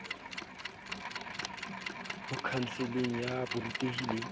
ho khanseling ya borutehi le